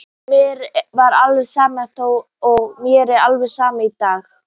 Mér var alveg sama þá og mér er alveg sama í dag.